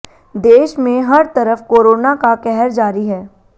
देश में हर तरफ कोरोना का कहर जारी है